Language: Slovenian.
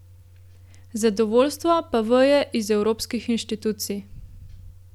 Zadovoljstvo pa veje iz evropskih inštitucij.